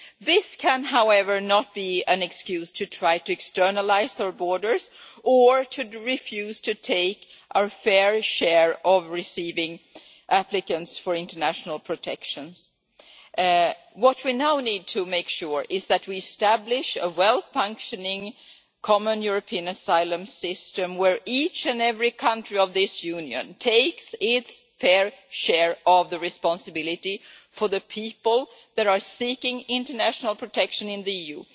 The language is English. This can, however, not be an excuse to try to externalise our borders or to refuse to take our fair share of receiving applicants for international protection. What we now need to make sure is that we establish a well functioning common European asylum system where each and every country of this Union takes its fair share of the responsibility for the people that are seeking international protection in the EU.